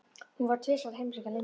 Hún fór tvisvar að heimsækja Lindu.